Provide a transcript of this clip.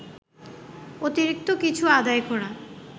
অতিরিক্ত কিছু আদায় করা